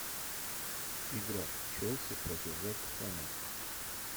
игра челси против вест хэма